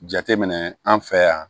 Jateminɛ an fɛ yan